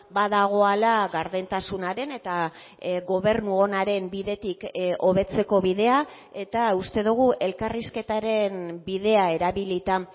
badagoala gardentasunaren eta gobernu onaren bidetik hobetzeko bidea eta uste dugu elkarrizketaren bidea erabilita